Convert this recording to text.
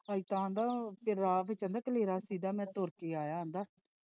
ਰਾਹ ਵਿੱਚ ਕਲੇਰਾਂ ਸੀ ਗਾ ਤੇ ਮੈਂ ਤੋਰ ਕੇ ਆਇਆ।